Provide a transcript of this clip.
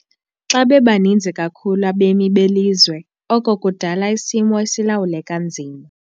Xa bebaninzi kakhulu abemi belizwe oko kudala isimo esilawuleka nzima.